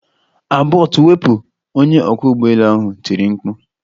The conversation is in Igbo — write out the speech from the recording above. Abort wepụ! Onye ọkwọ ụgbọelu ahụ tiri mkpu.